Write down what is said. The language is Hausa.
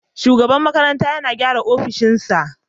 Shugaban makarantar yana gyara opishin sa